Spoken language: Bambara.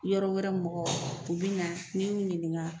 Yɔrɔ wɛrɛ mɔgɔw u bɛ na ni ɲininka.